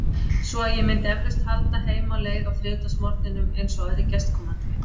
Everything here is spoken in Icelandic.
Svo að ég myndi eflaust halda heim á leið á þriðjudagsmorgninum, eins og aðrir gestkomandi.